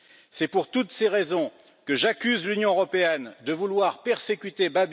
C'est pour toutes ces raisons que j'accuse l'Union européenne de vouloir persécuter M.